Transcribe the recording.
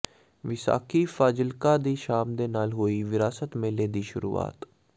ਵਿਸਾਖੀ ਫਾਜ਼ਿਲਕਾ ਦੀ ਸ਼ਾਮ ਦੇ ਨਾਲ ਹੋਈ ਵਿਰਾਸਤ ਮੇਲੇ ਦੀ ਸ਼ੁਰੂਆਤ